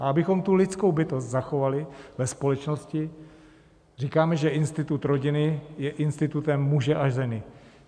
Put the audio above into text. A abychom tu lidskou bytost zachovali ve společnosti, říkáme, že institut rodiny je institutem muže a ženy.